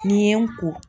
N'i ye n ko